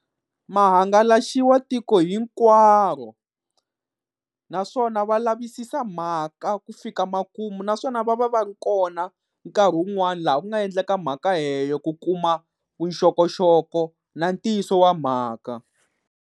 Mahangalaxiwa tiko hinkwaro, naswona va lavisisa mhaka ku fika makumu naswona va va va ri kona nkarhi wun'wani laha ku nga endleka mhaka leyo ku kuma vuxokoxoko na ntiyiso wa mhaka.